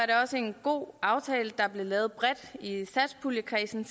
det også en god aftale der sidste år blev lavet bredt i satspuljekredsen